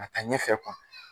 A ta ɲɛ fɛ